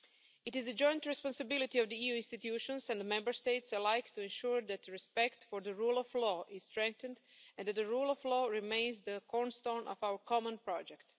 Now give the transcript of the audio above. It is a joint responsibility of the EU institutions and the Member States alike to ensure that respect for the rule of law is strengthened and that the rule of law remains the cornerstone of our common project.